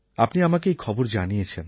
আপনি আমাকে এই খবর জানিয়েছেন